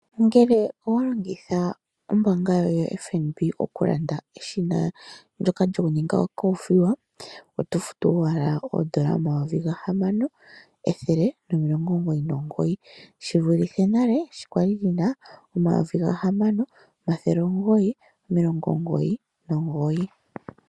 Ngele owa longitha ombaanga yoye yaFNB okulanda eshina ndyoka lyokuninga okoothiwa oto futu owala N$ 6 199, shi vulithe nale sho kwa li li na N$ 6 999.